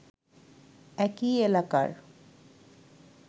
একই এলাকার